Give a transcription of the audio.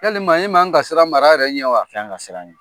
Yalima e man kan ka siran mara yɛrɛ ɲɛ wa? I ka kan ka siran ɲɛ.